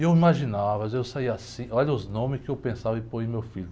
E eu imaginava, às vezes eu saía assim, olha os nomes que eu pensava em pôr em meu filho.